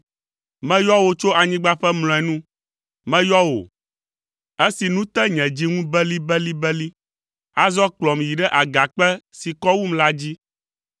Meyɔ wò tso anyigba ƒe mlɔenu, meyɔ wò, esi nu te nye dzi ŋu belibelibeli; azɔ kplɔm yi ɖe agakpe si kɔ wum la dzi,